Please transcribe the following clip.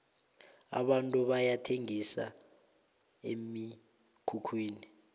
abantu bayathengisa emikhukhwini